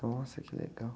Nossa, que legal.